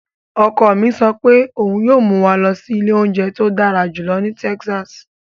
Ọkọ mi sọ pé òun yíó mú wa lọ sí ilé óúnjẹ tó dára jùlọ ní Texas.